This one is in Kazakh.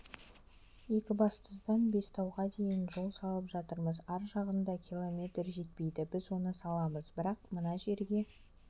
екібастұздан бестауға дейін жол салып жатырмыз ар жағында километр жетпейді біз оны саламыз бірақ мына жерге